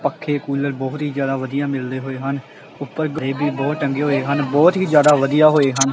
ਪੱਖੇ ਕੂਲਰ ਬਹੁਤ ਹੀ ਜਿਆਦਾ ਵਧੀਆ ਮਿਲਦੇ ਹੋਏ ਹਨ ਉਪਰ ਗਰੇ ਵੀ ਬੋਰਡ ਟੰਗੇ ਹੋਏ ਹਨ ਬਹੁਤ ਹੀ ਜ਼ਿਆਦਾ ਵਧੀਆ ਹੋਏ ਹਨ।